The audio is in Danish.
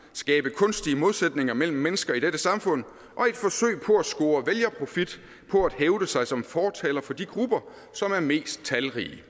og skabe kunstige modsætninger mellem mennesker i dette samfund og at score vælgerprofit på at hævde sig som fortaler for de grupper som er mest talrige